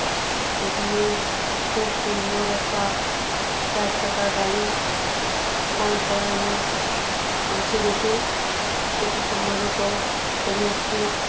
এখানে খুব সুন্দর একটা চারচাকা গাড়ি দাঁড় করানো আছে দেখুন এটি সম্ভবত কোন একটি--